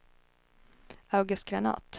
August Granath